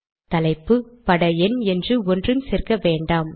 தலைப்பு பட எண் என்று ஒன்றும் சேர்க்க வேண்டாம்